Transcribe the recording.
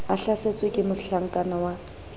a hlasetswe ke mohlakana wa